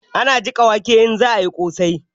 Ana jika wake in za'a yi ƙosai